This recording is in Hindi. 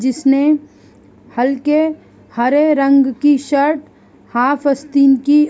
जिसने हल्के हरे रंग की शर्ट हाफ आस्तीन की --